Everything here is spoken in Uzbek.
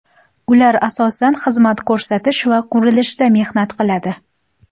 Ular asosan xizmat ko‘rsatish va qurilishda mehnat qiladi.